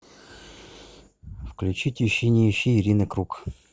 включить ищи не ищи ирины круг